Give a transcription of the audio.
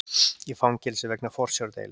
Í fangelsi vegna forsjárdeilu